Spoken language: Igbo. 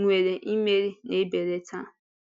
nwere imeri na-ebelata.